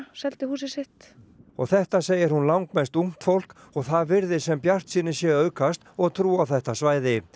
seldu húsið sitt og þetta segir hún langmest ungt fólk og það virðist sem bjartsýni sé að aukast og trú á þetta svæði